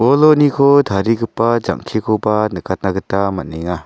boloniko tarigipa jang·kekoba nikatna gita man·enga.